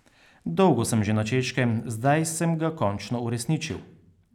Dolgo sem že na Češkem, zdaj sem ga končno uresničil.